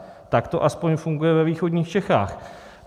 Tak to aspoň funguje ve východních Čechách.